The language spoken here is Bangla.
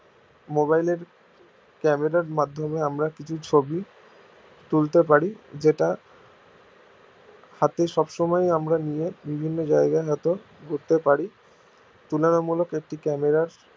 mobile এর camera র মাধ্যমে আমরা কিছু ছবি তুলতে পারি যেটা হাতে সব সময় আমরা নিয়ে বিভিন্ন জায়গায় ঘুরতে পারি তুলনা মূলক একটি camera র